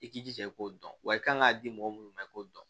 I k'i jija i k'o dɔn wa i kan k'a di mɔgɔ minnu ma i k'o dɔn